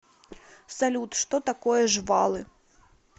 салют что такое жвалы